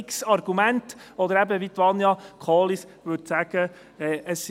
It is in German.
Es sind x Argumente, oder eben, wie Vania Kohli sagen würde: